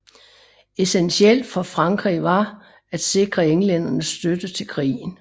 Essentielt for Frankrig var at sikre englændernes støtte til krigen